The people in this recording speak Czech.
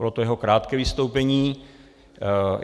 Bylo to jeho krátké vystoupení.